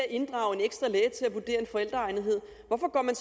inddrage en ekstra læge til at vurdere forældreegnethed hvorfor går man